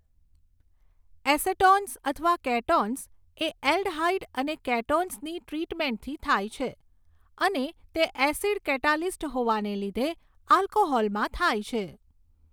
Acetones અથવા ketones એ aldehyde અને કેટોન્સની ટ્રીટમેન્ટથી થાય છે અને તે એસિડ કેટાલીસ્ટ હોવાના લીધે આલ્કોહોલમાં થાય છે.